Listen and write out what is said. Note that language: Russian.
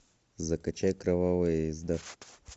закачай кровавая езда